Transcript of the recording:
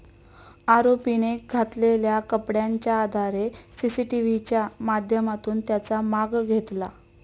आरोपीने घातलेल्या कपड्यांच्या आधारे सीसीटीव्हीच्या माध्यमातून त्याचा माग घेतला.